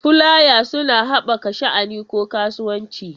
Fulaya suna haɓaka sha'ani ko kasuwanci.